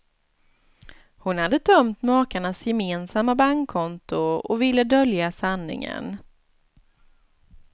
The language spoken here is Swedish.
Hon hade tömt makarnas gemensamma bankkonto och ville dölja sanningen.